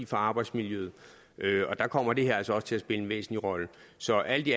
for arbejdsmiljøet og der kommer det her altså også til at en væsentlig rolle så alt i